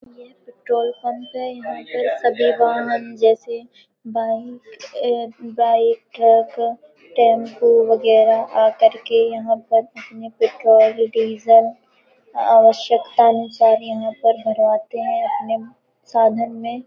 यह petrol pump है। यहाँ पर सभी वाहन जैसे बाइक अ- बाइक अ क-क टेंपो वगैरह आ करके यहाँ पर अपने पेट्रोल डीजल आवश्यकता अनुसार यहाँ पर भरवाते हैं अपने साधन में।